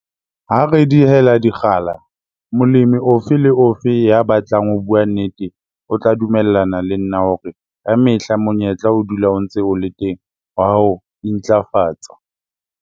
Ha re dihela dikgala, molemi ofe le ofe ya batlang ho bua nnete o tla dumellana le nna hore ka mehla monyetla o dula o ntse o le teng wa ho intlafatsa.